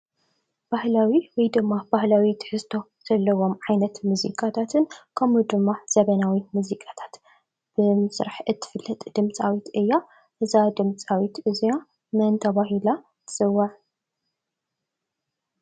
ባህላዊ ወይ ድማ ባህላዊ ትሕዝቶ ዘለዎ ዓይነት ሙዚቃታትን ከምኡ ድማ ዘመናዊ ሙዚቃታትን ብምስራሕ እትፍለጥ ድምፃዊት እያ። እዛ ድምፃዊት እዚኣ መን ተባሂላ ትፅዋዕ ?